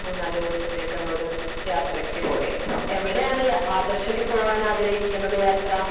Speaker 2 മൂന്നാല് ദിവസത്തേക്ക് ഒരു യാത്രക്ക് പോയത്. എവടെ ആണ് ആദ്ർശൊക്കെ പോവാൻ ആഗ്രഹിക്കുന്നത് യാത്ര?